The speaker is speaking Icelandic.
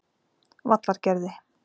Vallargerði